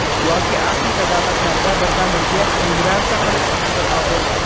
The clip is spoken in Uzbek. Yoki Afrika davlatlarida biridan biriga migratsiya qilish kuzatiladi.